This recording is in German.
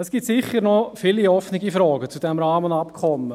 Es gibt sicher noch viele offene Fragen zu diesem Rahmenabkommen.